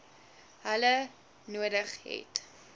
hulle nodig het